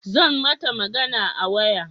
Zan mata magana a waya